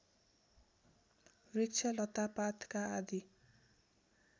वृक्ष लतापातका आदि